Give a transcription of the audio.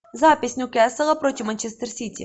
запись ньюкасла против манчестер сити